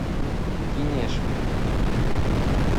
кинешме